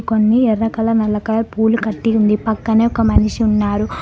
కొన్ని ఎర్ర కల నల్ల కలర్ పూలు కట్టి ఉంది పక్కనే ఒక మనిషి ఉన్నారు.